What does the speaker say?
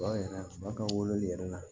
Ba yɛrɛ ba ka wololi yɛrɛ la